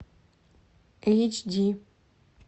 эйч ди